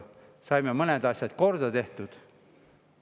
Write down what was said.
Tookord saime mõned asjad korda tehtud.